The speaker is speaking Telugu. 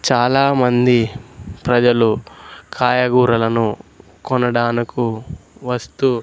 చాలామంది ప్రజలు కాయగూరలను కొనడానుకు వస్తూ--